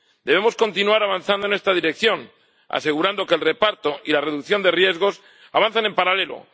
Debemos continuar avanzando en esta dirección, asegurando que el reparto y la reducción de riesgos avanzan en paralelo.